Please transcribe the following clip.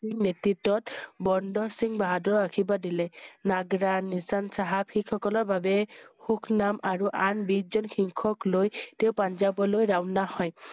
সিংহ, নেতৃত্বত বন্দা সিংহ বাহাদুৰৰ আশীৰ্বাৰ দিলে। নগ্ৰা নিচান চাহাব শিখ সকলৰ বাবে সুখ নাম আৰু আন বিছ জন শিখক লৈ তেওঁ পাঞ্জাব লৈ ৰাওনা হয়।